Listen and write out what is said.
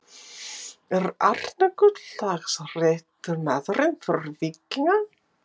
Er Arnar Gunnlaugs rétti maðurinn fyrir Víkinga?